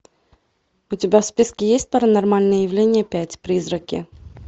у тебя в списке есть паранормальное явление пять призраки